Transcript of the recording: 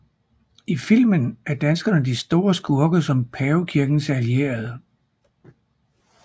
I filmen er danskerne de store skurke som pavekirkens allierede